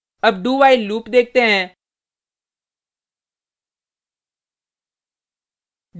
अब dowhile loop देखते हैं